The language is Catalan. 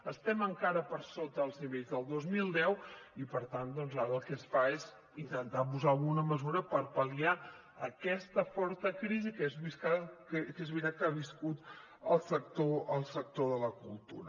estem encara per sota els nivells del dos mil deu i per tant doncs ara el que es fa és intentar posar alguna mesura per pal·liar aquesta forta crisi que és veritat que ha viscut el sector de la cultura